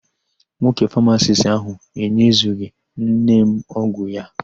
Nwoke famasisti áhụ̀ enyezughị nne m ọgwụ ya.